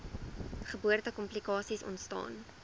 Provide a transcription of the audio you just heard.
geboorte komplikasies ontstaan